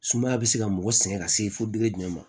Sumaya bɛ se ka mɔgɔ sɛgɛn ka se fo jumɛn ma